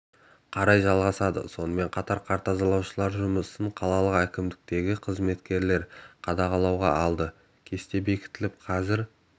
қарай жалғасады сонымен қатар қар тазалаушылардың жұмысын қалалық әкімдіктегі қызметкерлер қадағалауға алды кесте бекітіліп қазір